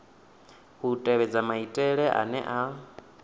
u tevhedza maitele ane a